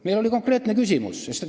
Meil oli konkreetne küsimus.